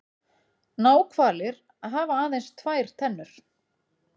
náhvalir hafa aðeins tvær tennur